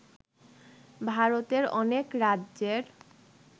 ভারতের অনেক রাজ্যের